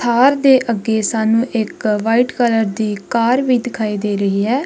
ਥਾਰ ਦੇ ਅੱਗੇ ਸਾਨੂੰ ਇੱਕ ਵ੍ਹਾਈਟ ਕਲਰ ਦੀ ਕਾਰ ਵੀ ਦਿਖਾਈ ਦੇ ਰਹੀ ਹੈ।